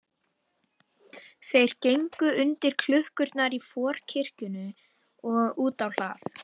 Þeir gengu undir klukkurnar í forkirkjunni og út á hlað.